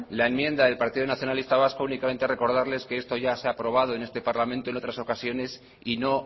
la enmienda del partido nacionalista vasco únicamente recordarles que esto ya se ha aprobado en este parlamento en otras ocasiones y no